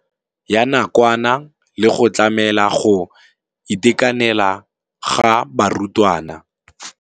Ya nakwana le go tlamela go itekanela ga barutwana.